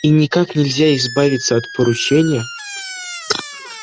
и никак нельзя избавиться от поручения